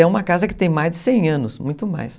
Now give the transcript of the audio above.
É uma casa que tem mais de cem anos, muito mais.